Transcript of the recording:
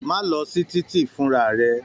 Má lọ sí titi funra rẹ!